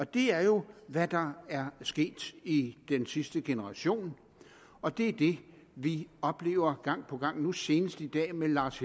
det er jo hvad der er sket i den sidste generation og det er det vi oplever gang på gang nu senest i dag med lars